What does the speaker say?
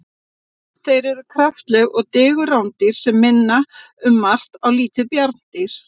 Þeir eru kraftaleg og digur rándýr sem minna um margt á lítil bjarndýr.